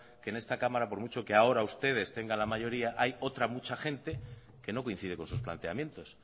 que en esta cámara por mucho que ahora ustedes tengan la mayoría hay otra mucha gente que no coincide con sus planteamientos